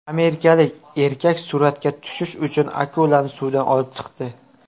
Amerikalik erkak suratga tushish uchun akulani suvdan olib chiqdi.